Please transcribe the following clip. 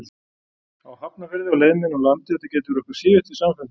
Hafnarfirði á leið minni úr landi að þetta gæti verið okkar síðasti samfundur.